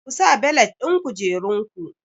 Ku sa belet ɗin kujerun ku!